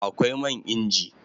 Akwai man inji